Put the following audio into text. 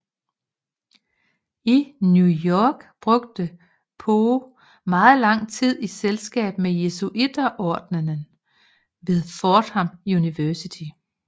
I New York brugte Poe megen tid i selskab med Jesuiterordenen ved Fordham University